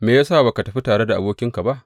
Me ya sa ba ka tafi tare da abokinka ba?